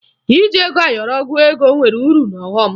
Iji ego ayọrọ gụọ ego nwere uru na ọghọ m